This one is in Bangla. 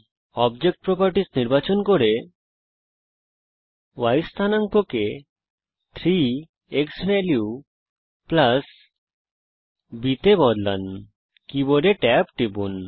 অবজেক্ট প্রপার্টিস নির্বাচন করুন y স্থানাঙ্ককে 3 ক্সভ্যালিউ b তে পরিবর্তন করুন কীবোডে ট্যাব টিপুন